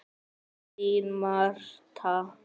Þín Marta.